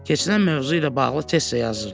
Keçirilən mövzu ilə bağlı test də yazırdı.